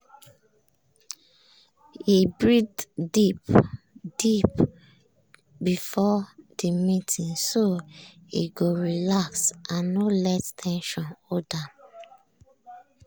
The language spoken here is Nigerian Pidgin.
he breathe deep-deep before the meeting so e go relax and no let ten sion hold am.